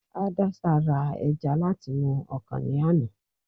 haddasa ra eja lat'inu ọkan ni àná